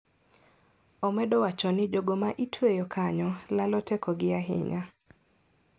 Omedo wacho ni jogo ma itweyo kanyo lalo tekogi ahinya.